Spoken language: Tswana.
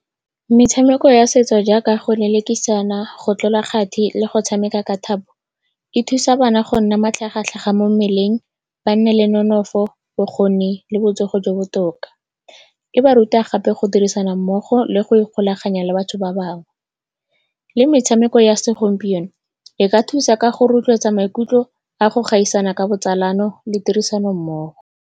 Metshameko ya setso jaaka go lelekisana, go tlola kgati le go tshameka ka thapo, e thusa bana go nna matlhagatlhaga mo mmeleng, ba nne le nonofo, bokgoni le botsogo jo bo botoka. E ba ruta gape go dirisana mmogo le go ikgolaganya le batho ba bangwe. Mme metshameko ya segompieno e ka thusa ka go rotloetsa maikutlo a go gaisana ka botsalano le tirisanommogo.